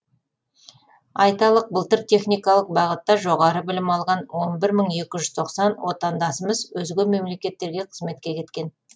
айталық былтыр техникалық бағытта жоғары білім алған он бір мың екі жүз тоқсан отандасымыз өзге мемлекеттерге қызметке кеткен